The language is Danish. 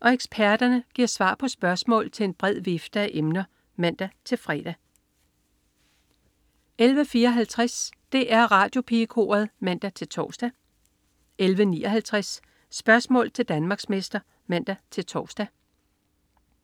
og eksperterne giver svar på spørgsmål til en bred vifte af emner (man-fre) 11.54 DR Radiopigekoret (man-tors) 11.59 Spørgsmål til Danmarksmester (man-tors)